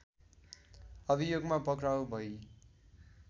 अभियोगमा पक्राउ भई